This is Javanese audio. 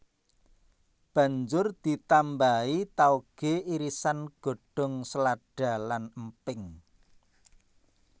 Banjur ditambahi taoge irisan godhong selada lan emping